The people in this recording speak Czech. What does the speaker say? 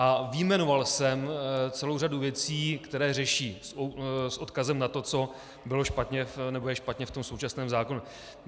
A vyjmenoval jsem celou řadu věcí, které řeší, s odkazem na to, co bylo špatně nebo je špatně v tom současném zákonu.